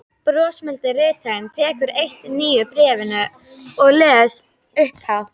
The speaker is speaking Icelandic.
Brosmildi ritarinn tekur eitt nýju bréfanna og les upphátt